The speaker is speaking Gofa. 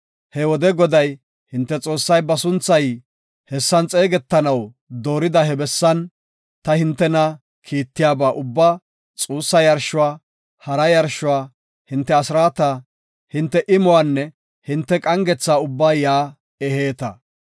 He wode Goday, hinte Xoossay ba sunthay hessan xeegetanaw doorida he bessan, ta hintena kiittiyaba ubbaa, xuussa yarshuwa, hara yarshuwa, hinte asraata, hinte imuwanne hinte qangetha ubbaa yaa eheeta.